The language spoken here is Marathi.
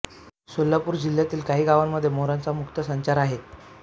सोलापूर जिल्ह्यातील काही गावांमध्ये मोरांचा मुक्त संचार आहे